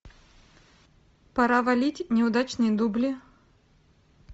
пора валить неудачные дубли